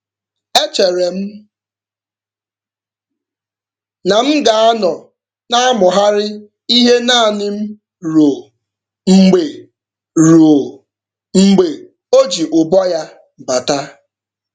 E chere m na m ga-anọ na-amụgharị ihe naanị m ruo mgbe ruo mgbe o ji ụbọ ya bata.